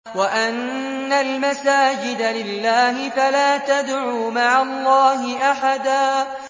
وَأَنَّ الْمَسَاجِدَ لِلَّهِ فَلَا تَدْعُوا مَعَ اللَّهِ أَحَدًا